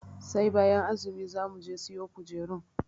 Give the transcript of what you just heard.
Sai bayan azumi za muje siyo kujerun.